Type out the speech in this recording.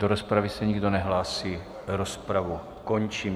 Do rozpravy se nikdo nehlásí, rozpravu končím.